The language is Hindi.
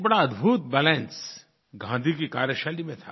एक बड़ा अद्भुत बैलेंस गाँधी की कार्यशैली में था